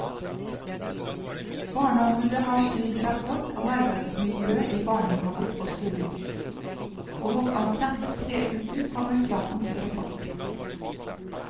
Barneombudet har sin rapport om arbeidsmiljøet i barnehaver og skoler, og om knappe tre uker kommer statens rapport.